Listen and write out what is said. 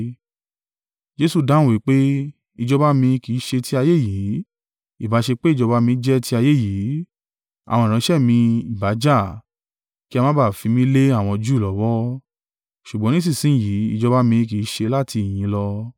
Jesu dáhùn wí pé, “Ìjọba mi kì í ṣe ti ayé yìí. Ìbá ṣe pé ìjọba mi jẹ́ ti ayé yìí, àwọn ìránṣẹ́ mi ìbá jà, kí a má ba à fi mí lé àwọn Júù lọ́wọ́, ṣùgbọ́n nísinsin yìí ìjọba mi kì í ṣe láti ìhín lọ.”